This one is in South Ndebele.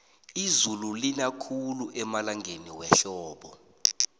izulu lina khulu emalangeni wehlobo